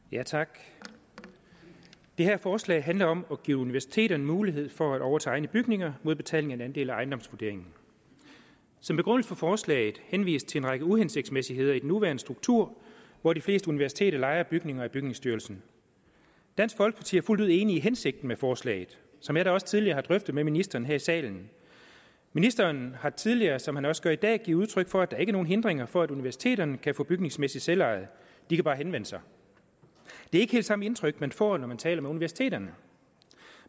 tak det her forslag handler om at give universiteterne mulighed for at overtage egne bygninger mod betaling af en andel af ejendomsvurderingen som begrundelse for forslaget henvises til en række uhensigtsmæssigheder i den nuværende struktur hvor de fleste universiteter lejer bygninger af bygningsstyrelsen dansk folkeparti er fuldt ud enig i hensigten med forslaget som jeg da også tidligere har drøftet med ministeren her i salen ministeren har tidligere som han også gør i dag givet udtryk for at der ikke er nogen hindringer for at universiteterne kan få bygningsmæssigt selveje de kan bare henvende sig det er ikke helt samme indtryk man får når man taler med universiteterne